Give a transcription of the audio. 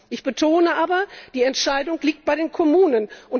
Ich betone aber Die Entscheidung liegt bei den Kommunen.